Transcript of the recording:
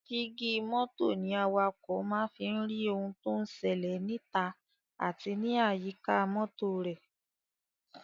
Jígí mọ́tò ní awakọ̀ máa ń fi rí ohun tó ń ṣẹlẹ̀ níta àti ní àyíká mọ́tò rẹ̀.